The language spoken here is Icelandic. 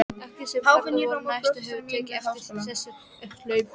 Allir sem þarna voru nærstaddir höfðu tekið eftir þessu upphlaupi.